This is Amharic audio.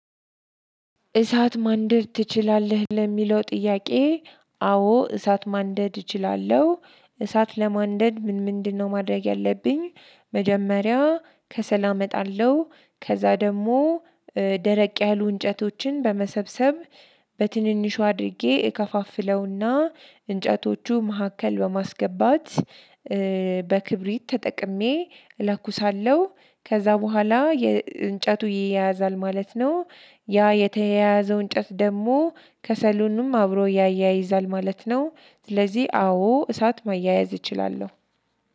እሳት ማንደድ ትችላለህ ለሚለው ጥያቄ? አዎ እሳት ማንደድ እችላለሁ። እሳት ለማንደድ ምን ምንድነው ማድረግ ያለብኝ? መጀመሪያ ከሰል አመጣለሁ ከዛ ደግሞ ደረቅ ያሉ እንጨቶችን በመሰብሰብ በትንንሹ አድርጌ እከፋፍለውና እንጨቶቹ መካከል በማስገባት እ በክብሪት ተጠቅሜ እለኩሳለሁ ከዛ በኋላ የእንጨቱ ይያያዛል ማለት ነው። ያ የተያያዘው እንጨት ደግሞ ከሰሉኑም አብሮ ያያይዛል ማለት ነው። ስለዚህ አዎ እሳት መያያዝ እችላለሁ።